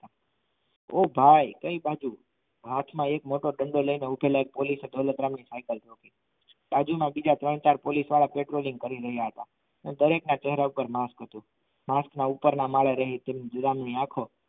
ઓ ભાઈ કઈ બાજુ હાથમાં એક મોટો ડંડો લઈને ઉભેલા એક પોલીસ દોલતરામ ની સાઇકલ થોબી બાજુમાં ત્રણ ચાર પોલીસવાળા patrolling કરી રહ્યા હતા દરેકના ચહેરા ઉપર માસ્ક હતું માસ્ક ના ઉપપર ના માડે રહી વિરામ ની આખો